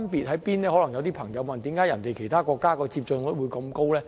可能有些人會問，為甚麼其他國家的接種率這麼高？